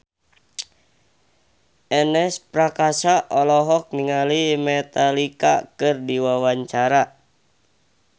Ernest Prakasa olohok ningali Metallica keur diwawancara